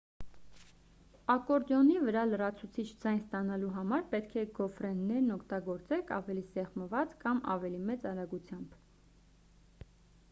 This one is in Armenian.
ակորդեոնի վրա լրացուցիչ ձայն ստանալու համար պետք է գոֆրեներն օգտագործեք ավելի սեղմած կամ ավելի մեծ արագությամբ